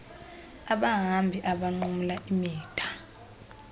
abahambi abanqumla imida